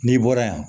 N'i bɔra yan